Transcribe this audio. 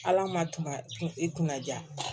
Ala ma tunga kun i kunna ja